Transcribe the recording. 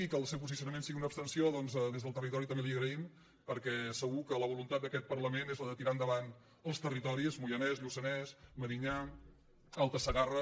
i que el seu posicionament sigui una abstenció doncs des del territori també li ho agraïm perquè segur que la voluntat d’aquest parlament és la de tirar endavant els territoris moianès lluçanès medinyà alta segarra